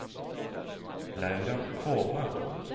Laura Kvåle